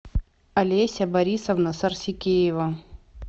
олеся борисовна сарсикеева